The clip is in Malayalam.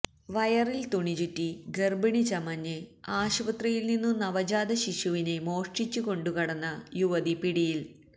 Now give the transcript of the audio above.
വയറില് തുണിചുറ്റി ഗര്ഭിണി ചമഞ്ഞ് ആശുപത്രിയില്നിന്നു നവജാതശിശുവിനെ മോഷ്ടിച്ചുകൊണ്ടു കടന്ന യുവതി പിടിയില്